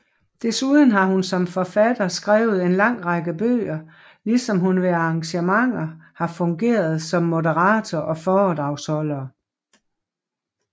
Desuden har hun som forfatter skrevet en lang række bøger ligesom hun ved arrangementer har fungeret som moderator og foredragsholder